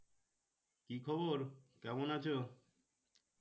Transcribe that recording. কি খবর কেমন আছো?